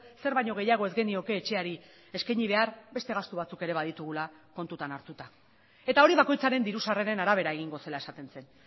zer baino gehiago ez genioke etxeari eskaini behar beste gastu batzuk ere baditugula kontutan hartuta eta hori bakoitzaren diru sarreren arabera egingo zela esaten zen